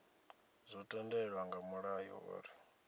zwo tendelwa nga mulayo uri